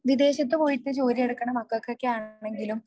വിദേശത്ത് പോയിട്ട് ജോലി എടുക്കണ മക്കൾക്കൊക്കെ ആണെങ്കിലും